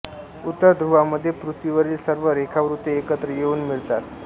उत्तर ध्रूवामध्ये पृथ्वीवरील सर्व रेखावृत्ते एकत्र येऊन मिळतात